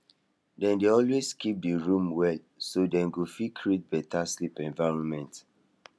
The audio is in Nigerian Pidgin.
dem dey always keep the room well so dem go fit create better sleeping environment